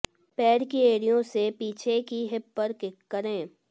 पैर की एड़ियों से पीछे की हिप पर किक करें